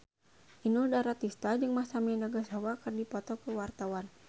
Inul Daratista jeung Masami Nagasawa keur dipoto ku wartawan